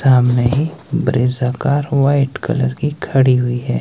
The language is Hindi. सामने ही ब्रेजा कार व्हाइट कलर की खड़ी हुई है।